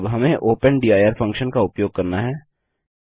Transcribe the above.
अब हमें opendir function का उपयोग करना है